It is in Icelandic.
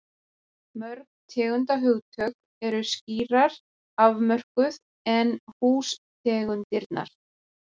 Mörg tegundarhugtök eru skýrar afmörkuð en hústegundirnar.